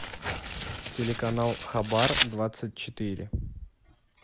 телеканал хабар двадцать четыре